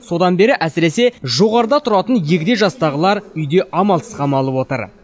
содан бері әсіресе жоғарыда тұратын егде жастағылар үйде амалсыз қамалып отыр